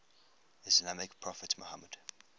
islamic prophet muhammad